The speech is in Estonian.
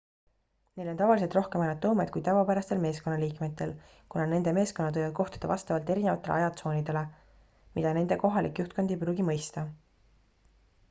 neil on tavaliselt rohkem autonoomiat kui tavapärastel meeskonnaliikmetel kuna nende meeskonnad võivad kohtuda vastavalt erinevatele ajatsoonidele mida nende kohalik juhtkond ei pruugi mõista